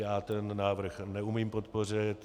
Já ten návrh neumím podpořit.